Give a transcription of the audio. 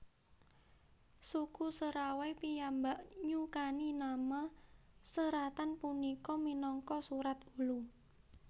Suku Serawai piyambak nyukani nama seratan punika minangka Surat Ulu